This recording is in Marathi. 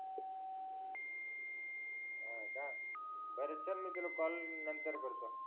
हो का बर चल मी तुला नंतर कॉल करतो